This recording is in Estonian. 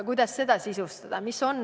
Kuidas seda sisustada?